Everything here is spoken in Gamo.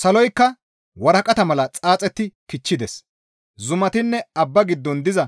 Saloykka waraqata mala xaaxetti kichchides; zumatinne abba giddon diza